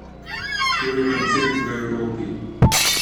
To je koncept v Evropi.